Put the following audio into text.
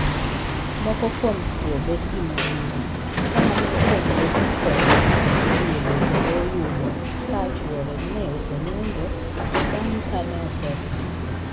Moko kuom chwo bet gi mon mang'eny ka mane opogore kode oduogo kendo oyudo ka chwore ne osenyombo bang' ka ne oseringo.